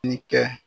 Ni kɛ